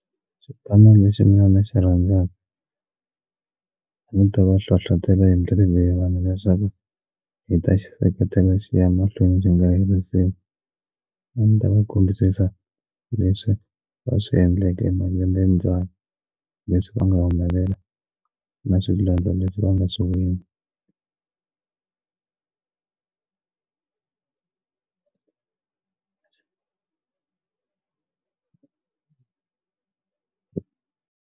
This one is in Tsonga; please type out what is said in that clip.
Xipano lexi mina ni xi rhandzaka a ni ta va hlohlotela hi ndlela leyiwani leswaku hi ta xi seketela xi ya mahlweni byi nga herisiwe a ndzi ta va kambisisa leswi va swi endleke malembe ndzhaku leswi va nga humelela na swilo leswi va nga swi wina.